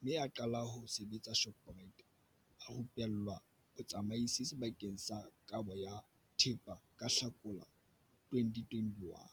mme a qala ho sebetsa Shoprite a rupellwa botsamaisi sebakeng sa kabo ya thepa ka Hlakola 2021.